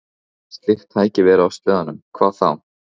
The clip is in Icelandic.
En hefði slíkt tæki verið á sleðanum, hvað þá?